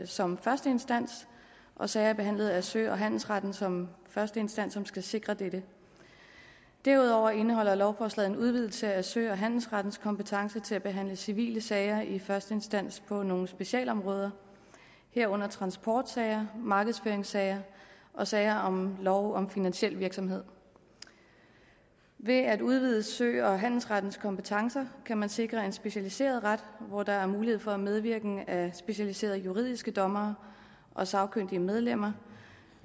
som første instans og sager behandlet af sø og handelsretten som første instans som skal sikre dette derudover indeholder lovforslaget en udvidelse af sø og handelsrettens kompetence til at behandle civile sager i første instans på nogle specialområder herunder transportsager markedsføringssager og sager om lov om finansiel virksomhed ved at udvide sø og handelsrettens kompetencer kan man sikre en specialiseret ret hvor der er mulighed for medvirken af specialiserede juridiske dommere og sagkyndige medlemmer